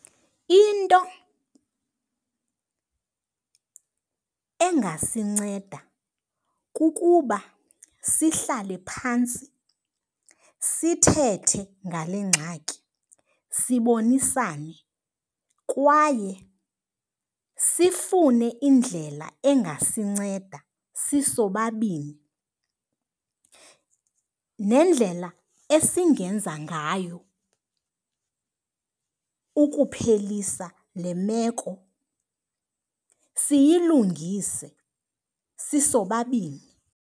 Into engasinceda kukuba sihlale phantsi sithethe ngale ngxaki sibonisane. Kwaye sifune indlela engasinceda sisobabini nendlela esingenza ngayo ukuphelisa le meko, siyilungise sisobabini.